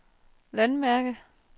landmærke